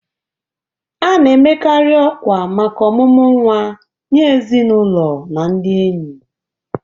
A na-amekarị ọkwa maka omumu nwa nye ezinụlọ na ndị enyi.